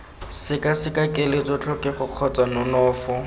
sekaseka keletso tlhokego kgotsa nonofo